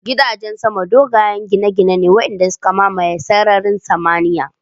Gidajen sama dogayen gine-gine ne waɗanda suka mamaye sararin samaniyar